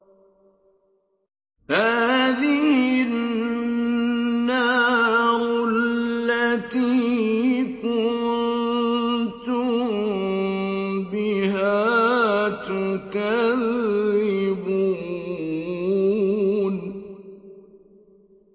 هَٰذِهِ النَّارُ الَّتِي كُنتُم بِهَا تُكَذِّبُونَ